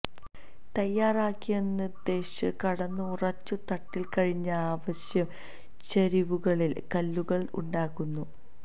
തയ്യാറാക്കിയ എന്നുദ്ദേശിച്ച കടന്നു ഉറച്ചു തട്ടിൽ കഴിഞ്ഞ ആവശ്യം ചരിവുകളിൽ കല്ലുകൾ ഉണ്ടാക്കുന്നു